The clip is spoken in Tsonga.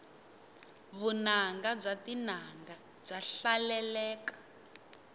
vunanga bya tinanga bya hlaleleka